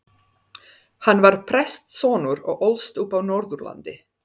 Hann var prestssonur og ólst upp á Norðurlandi.